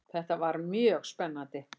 Þetta var mjög spennandi.